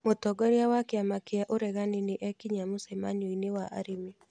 Mũtongoria wa kĩama kĩa ũregani nĩ ekinyia mũcemanio-inĩ wa arĩmi